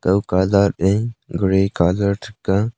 lo colour e gray colour ga.